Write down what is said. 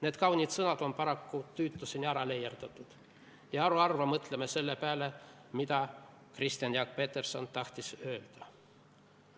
" Need kaunid sõnad on paraku tüütuseni ära leierdatud ja haruharva mõtleme selle peale, mida Kristjan Jaak Peterson tahtis öelda.